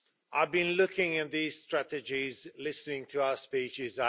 I've been looking at these strategies and listening to our speeches.